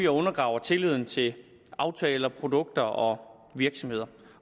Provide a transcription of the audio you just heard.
undergraver tilliden til aftaler produkter og virksomheder